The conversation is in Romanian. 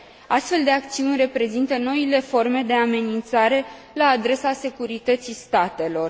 Astfel de acțiuni reprezintă noile forme de amenințare la adresa securității statelor.